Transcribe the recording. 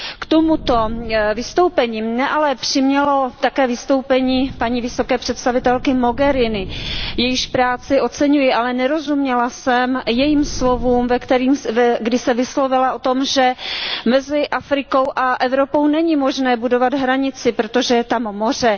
K tomuto vystoupení mě ale přimělo také vystoupení paní vysoké představitelky Mogheriniové, jejíž práci oceňuji, ale nerozuměla jsem slovům, kdy se vyslovila o tom, že mezi Afrikou a Evropou není možné budovat hranici, protože je tam moře.